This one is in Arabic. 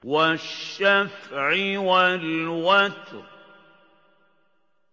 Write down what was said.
وَالشَّفْعِ وَالْوَتْرِ